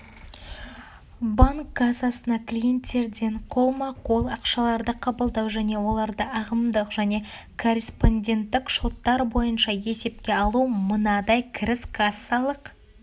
банк кассасына клиентерден қолма-қол ақшаларды қабылдау және оларды ағымдық және корреспонденттік шоттар бойынша есепке алу мынадай кіріс кассалық